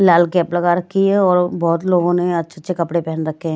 लाल cap लगा रखी है और बहुत लोगों ने अच्छे-अच्छे कपड़े पहन रखे हैं।